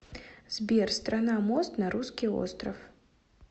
сбер страна мост на русский остров